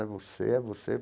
É você, é você.